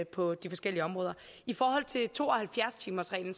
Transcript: på de forskellige områder i forhold til to og halvfjerds timersreglen